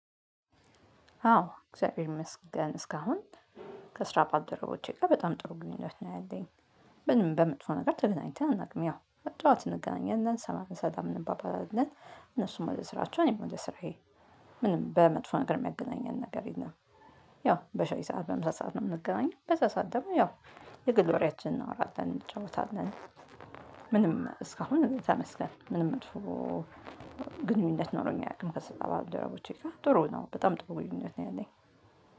አዎ እግዚአብሔር ይመስገን እስካሁን ከስራ ባደረቦቼ ጋር በጣም ጥሩ ግንኙነት ነው ያለኝ። በምንም በመጥፎ ነገር ተገናኝተን አናውቅም። ያው ጠዋት እንገናኛለን ሰላም እንባባላለን እነሱም ወደ ስራቸው እኔም ወደ ስራዬ። ምንም በመጥፎ ነገር የሚያገናኘን ነገር የለም። ያው በሻይ ሰዓት በምሳ ሰዓት ነው የምንገናኘው በዛ ሰዓት ደግሞ ያው የግል ወሬያችንን እናወራለን እንጫወታለን። ምንም እስካሁን ተመስገን ምንም መጥፎ ግንኙነት ኖሮኝ አያውቅም። ከስራ ባልደረቦቼ ጋር ጥሩ ነው በጣም ጥሩ ግንኙነት ነው ያለኝ።